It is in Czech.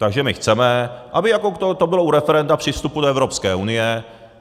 Takže my chceme, aby jako to bylo u referenda při vstupu do Evropské unie.